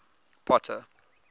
potter